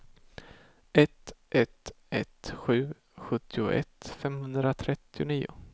ett ett ett sju sjuttioett femhundratrettionio